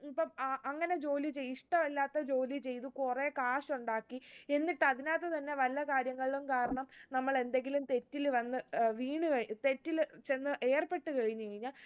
ഇപ്പം അ അങ്ങനെ ജോലി ചെയ് ഇഷ്ടല്ലാത്ത ജോലി ചെയ്ത് കൊറേ കാശുണ്ടാക്കി എന്നിട്ട് അതിനകത്ത് തന്നെ വല്ല കാര്യങ്ങളും കാരണം നമ്മളെന്തെങ്കിലും തെറ്റിൽ വന്ന് ഏർ വീണ് കഴി തെറ്റിൽ ചെന്ന് ഏർപ്പെട്ട് കഴിഞ്ഞു കഴിഞ്ഞ